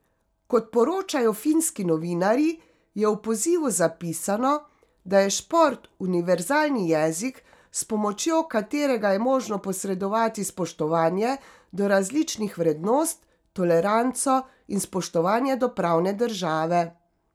Kot poročajo finski novinarji, je v pozivu zapisano, da je šport univerzalni jezik, s pomočjo katerega je možno posredovati spoštovanje do različnih vrednost, toleranco in spoštovanje do pravne države.